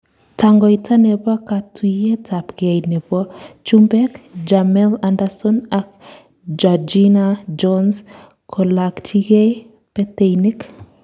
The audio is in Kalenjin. Tangoita nepo katuiyet ap gei nepo chumbeek:Jamel Anderson ak Gergina Jones kolakchigei peteinik